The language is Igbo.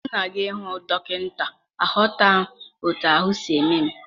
M na-aga ịhụ dọkịnta, aghọtaghị m otú ahụ m si eme m.